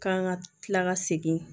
K'an ka kila ka segin